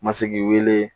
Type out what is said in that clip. Ma se k'i wele